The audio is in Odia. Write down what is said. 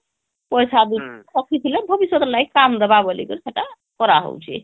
ପଇସା ରଖିଥିଲେ ଭବିଷ୍ୟତ ଲାଗି କାମ ଦେବା ବୋଲି କିରି ସେଟା କରା ହଉଛି